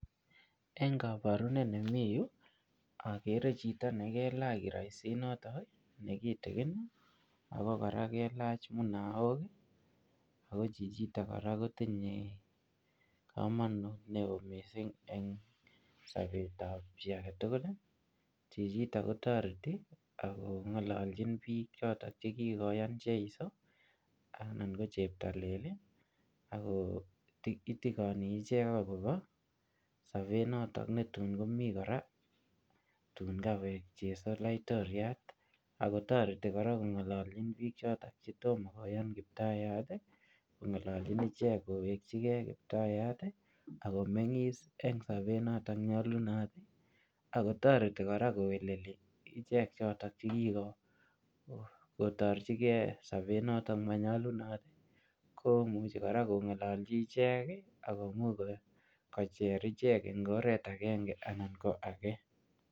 En kaborunet nemi yu akere chito notok nekelach kiroisit noto nekitikin ako kora kelach munaok ako chichito kora kotinye komonut neo missing en sobetab chii aketugul, chichito kotoreti akong'ololchin biik chotok chekikoyan jeiso ana ko cheptolel akoo itikoni ichek akopo sobet notok netun komii kora tuwan kawek jeiso laitoriat akotoreti kora kong'ololchin biik choton chetomo koyan kiptayat, kong'ololchin icheck kowekyike kiptayat akomeng'is en sobet noto nenyolunot akotoreti kora koweleli ichek choto chekikotorchike sobet noto manyolunoot komuchi kora kong'ololchi ichek akomuch kocher ichek eng oret akenge alan ake.